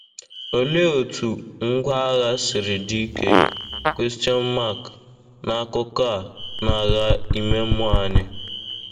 Olee otú ngwá agha siri dị ike n'akụkọ a n'agha ime mmụọ anyị?